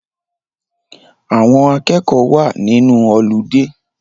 Àwọn akẹ́kọ̀ọ́ wa nínú ọludé